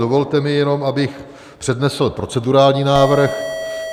Dovolte mi jenom, abych přednesl procedurální návrh.